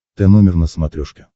тномер на смотрешке